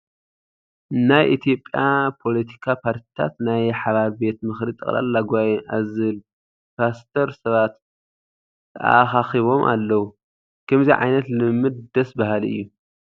ናይ ኢትዮጵያ ፖለቲካ ፓርቲታት ናይ ሓባር ቤት ምኽሪ ጠቕላላ ጉባኤ ኣብ ዝብል ፖስተር ሰባት ተኣኻኺቦም ኣለዉ፡፡ ከምዚ ዓይነት ልምምድ ደስ በሃሊ እዩ፡፡